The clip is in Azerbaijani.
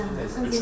Başa düşürsünüz?